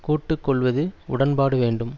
கூட்டு கொள்வது உடன்பாடு வேண்டும்